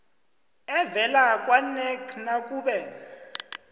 evela kwanac nakube